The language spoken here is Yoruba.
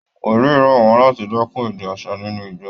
Wòlìí rọ̀ wọ́n láti dẹ́kun èdè aṣa ninú ìjọ